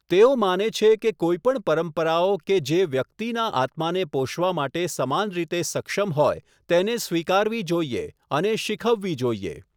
તેઓ માને છે કે કોઈપણ પરંપરાઓ કે જે વ્યક્તિના આત્માને પોષવા માટે સમાન રીતે સક્ષમ હોય તેને સ્વીકારવી જોઈએ અને શીખવવી જોઈએ.